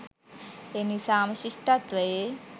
එනිසාම ශිෂ්ඨත්වයේ